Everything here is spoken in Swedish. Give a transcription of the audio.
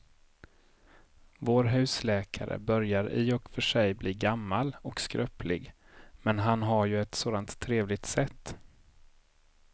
Vår husläkare börjar i och för sig bli gammal och skröplig, men han har ju ett sådant trevligt sätt!